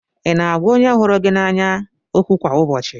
Ị na-agwa onye hụrụ gị n'anya okwu kwa ụbọchị?